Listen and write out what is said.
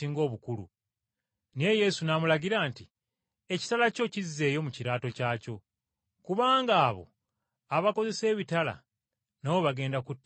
Naye Yesu n’amulagira nti, “Ekitala kyo kizzeeyo mu kiraato kyakyo. Kubanga abo abakozesa ebitala nabo bagenda kuttibwa na kitala.